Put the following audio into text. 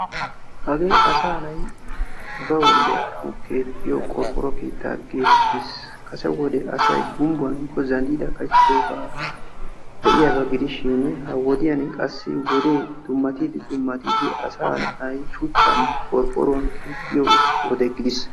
Hagee asaa de'annawu keexiyo qorqqoro keetta geeteettes. Beni asay gubbuwaninne maatan keexesishin ha'i qorqqoruwaninne shuchchan keexxiyo wode gidiis.